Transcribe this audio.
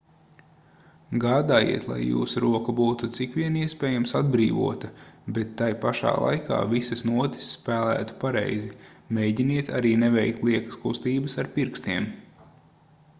gādājiet lai jūsu roka būtu cik vien iespējams atbrīvota bet tai pašā laikā visas notis spēlētu pareizi mēģiniet arī neveikt liekas kustības ar pirkstiem